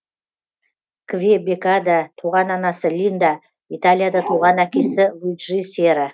квебекада туған анасы линда италияда туған әкесі луиджи сера